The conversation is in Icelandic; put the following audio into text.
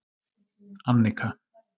Annika